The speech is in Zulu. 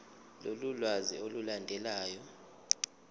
lolu lwazi olulandelayo